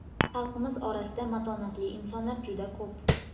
Xalqimiz orasida matonatli insonlar juda ko‘p.